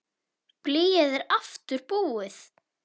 Blýið er aftur búið.